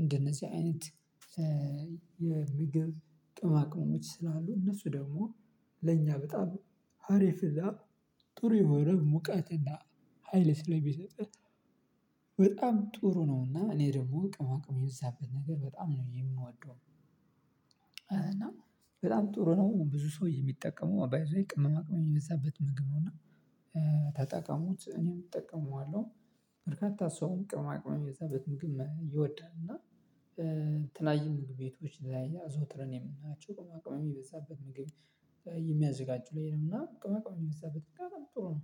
እንደነዚህ አይነት የምግብ ቅምማቅመሞች ስላሉ እነሱ ደግሞ ለኛ በጣም ሀሪፍ እና ጥሩ የሆነ ሙቀትና ሀይል ስለሚሰጥ በጣም ጥሩ ነውና እኔ ደግሞ ቅመማ ቅመም የበዛበት ነገር በጣም ነው የምንወደው። እና በጣም ጥሩ ነው ብዙ ሰው የሚጠቀመው ባይዘዌይ ቅመማ ቅመም የዛበት መግብ ነው እና ተጠቀሙት እኔም እጠቀመዋለሁ። በርካታ ሰውም ቅማቅመኛ በግም ይወዳል። እና የተለያዩ ምግብ ቤቶች ላይ አዘውትረን የምናያቸው ቅመማ ቅመም የሚበዛበት ምግብ የሚያዘጋጁ ላይ ነው እና ቅመማ ቅመም የበዛበት ምግብ በጣም ጥሩ ነው።